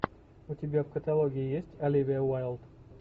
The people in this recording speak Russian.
у тебя в каталоге есть оливия уайлд